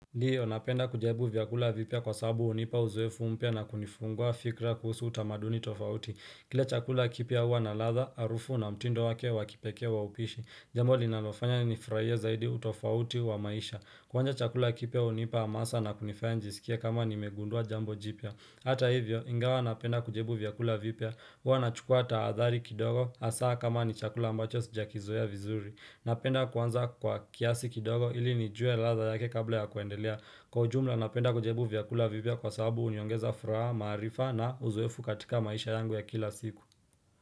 Ndio, napenda kujaribu vyakula vipya kwasabu hunipa uzoefu mpya na kunifungua fikra kuhusu utamaduni tofauti Kila chakula kipya huwa na ladha harufu na mtindo wake wa kipekee wa upishi, jambo linalofanya nifurahie zaidi utofauti wa maisha. Kwanza chakula kipya hunipa amasa na kunifanya nijisikie kama nimegundua jambo jipya Hata hivyo, ingawa napenda kujabu vyakula vipya huwa na chukua tahadhali kidogo hasaa kama ni chakula mbacho sijakizoea ya vizuri. Napenda kwanza kwa kiasi kidogo ili nijue ladha yake kabla ya kuendelea. Kwa ujumla napenda kujabu vyakula vipya kwa sababu huniongeza furaha maarifa na uzoeefu katika maisha yangu ya kila siku.